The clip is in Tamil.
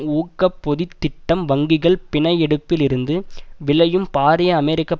ஊக்க பொதித் திட்டம் வங்கிகள் பிணை எடுப்பில் இருந்து விளையும் பாரிய அமெரிக்க